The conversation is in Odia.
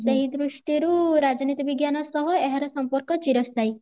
ସେଇ ଦୃଷ୍ଟିରୁ ରାଜନୀତି ବିଜ୍ଞାନ ସହ ଏହାର ସମ୍ପର୍କ ଚିରସ୍ଥାୟୀ